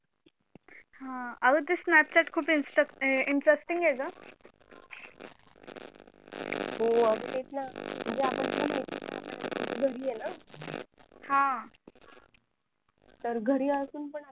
हा अंग ते snapchat खूप install हे interesting हे गं हो अंग तेच ना म्हणजे आपण हा तर घरी असून पण